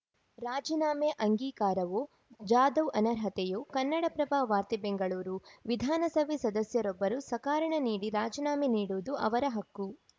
ರಾಜೀನಾಮೆ ಅಂಗೀಕಾರವೋ ಜಾಧವ್‌ ಅನರ್ಹತೆಯೋ ಕನ್ನಡಪ್ರಭ ವಾರ್ತೆ ಬೆಂಗಳೂರು ವಿಧಾನಸಭೆ ಸದಸ್ಯರೊಬ್ಬರು ಸಕಾರಣ ನೀಡಿ ರಾಜೀನಾಮೆ ನೀಡುವುದು ಅವರ ಹಕ್ಕು